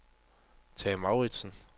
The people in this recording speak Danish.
Tage Mouritzen